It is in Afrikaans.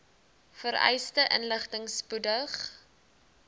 vereiste inligting spoedig